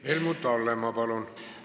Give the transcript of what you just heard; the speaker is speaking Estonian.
Helmut Hallemaa, palun!